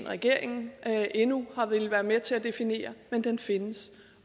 regeringen endnu har villet være med til at definere men den findes